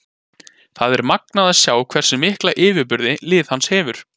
Það er magnað að sjá hversu mikla yfirburði liðið hans hefur.